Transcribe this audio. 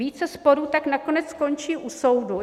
Více sporů tak nakonec skončí u soudu.